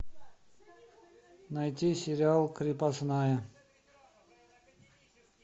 найти сериал крепостная